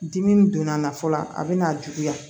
Dimi don a na fɔlɔ a bɛna juguya